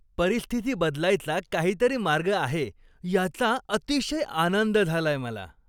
परिस्थिती बदलायचा काहीतरी मार्ग आहे याचा अतिशय आनंद झालाय मला.